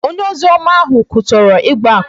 Onye ozioma ahụ kwutọrọ ịgba akwụna